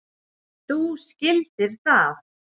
Þú skildir það.